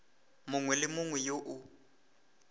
mongwe le yo mongwe o